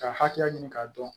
Ka hakɛya ɲini k'a dɔn